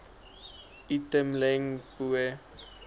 itumeleng pooe